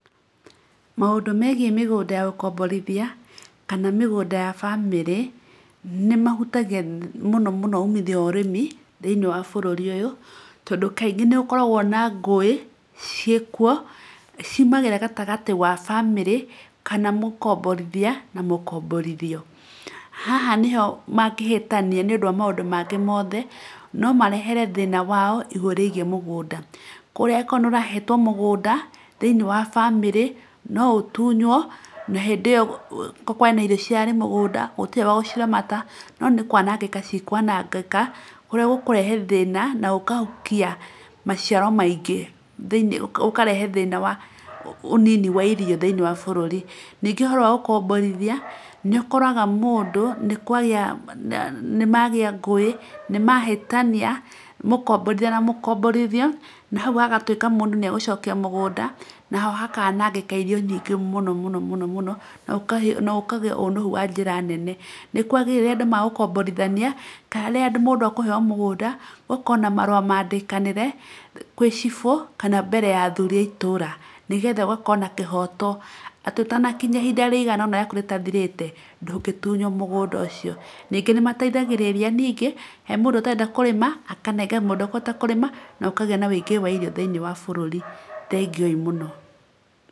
Maũndũ megie mĩgũnda ya gũkomborithia kana mĩgũnda ya bamĩrĩ nĩ mahutagia mũno mũno umithio wa ũrĩmi thĩinĩ wa bũrũri ũyũ, tondũ kaingĩ nĩ gũkoragwo na ngũĩ ciĩ kuo ciumagĩra gatagatĩ wa bamĩrĩ ka mũkomborithia na mũkomborithio, haha nĩhoangĩhĩtania nĩ ũndũ wa maũndũ mangĩ mothe, no marĩhe thĩna wao igũrũ rĩgie mũgũnda, ũguo okorwo nĩ ũrahetwo mũgũnda thĩinĩ wa bamĩrĩ no ũtunywo okorwo kũrarĩ na irio irarĩ mũgũnda gũtirĩ wa gũciramata no nĩ kwanangĩka ci kwanangĩka kũrĩa cikũrehe thĩna na cikahukia maciaro maingĩ, gũkarehe thĩna wa ũnini wa irio thĩinĩ wa bũrũri nĩkĩo ũhoro gũkomborithia nĩ ũkoraga mũndũ nĩ kwagĩa, nĩ mahĩtania nĩ mũkomborithia na mũkomborithio na hau hagatuĩka nĩ egũcokia mũgũnda naho hakanangĩka irio nyingĩ mũno mũno mũno mũno, na gũkagĩa ũnuhu wa njĩra nene. Nĩ kwagĩrĩirwo rĩrĩa andũ megũkomborithania kana rĩrĩa mũndũ akũheo mũgũnda ũgakorwo na marũa mandĩkanĩre kana chbũ wa itũũra, nĩgetha na kĩhoto atĩ ũtanakinya ihinda rĩiganona ihinda rĩaku rĩtathirĩte ndũngĩtunywo mũgũnda ũcio, ningĩ nĩ mateithagĩrĩria ningĩ he mũndũ ũrenda kũrĩma akenengera mũndũ ũrĩa ũkũhota kũrĩma na gũkagĩa na wũingĩ wa irio thĩinĩ wa bũrũri, thengio ii mũno.